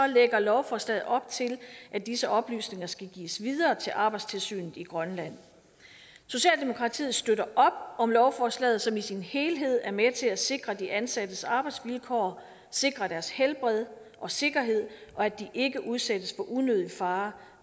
lægger lovforslaget op til at disse oplysninger skal gives videre til arbejdstilsynet i grønland socialdemokratiet støtter op om lovforslaget som i sin helhed er med til at sikre de ansattes arbejdsvilkår sikre deres helbred og sikkerhed og at de ikke udsættes for unødig fare